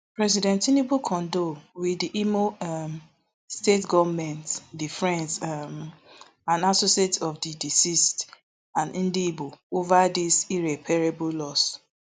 president tinubu condole wit di imo um state goment di friends um and associates of di deceased and ndi igbo over dis irreparable loss